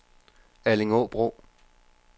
Allingåbro